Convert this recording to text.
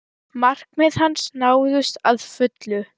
Markmið hans náðust að fullu.